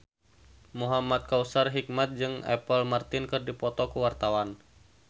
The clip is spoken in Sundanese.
Muhamad Kautsar Hikmat jeung Apple Martin keur dipoto ku wartawan